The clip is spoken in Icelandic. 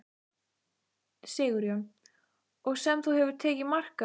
Sigurjón: Og sem þú hefur tekið mark á?